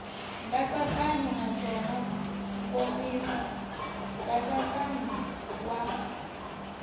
nkatsakanyo naswona nkomiso nkatsakanyo wa